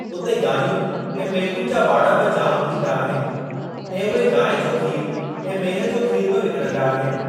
उते गांइयुनि ऐं मेहुनि जा वाड़ा बि जाम थींदा आहिनि ऐं उहे गांइ जो खीर ऐं मेह जो खीर बि विकणंदा आहिनि।